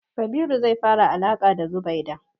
Kabiru zai fara alaƙa da Zubaida.